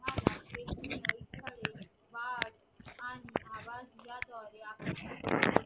या बागास या दोर्या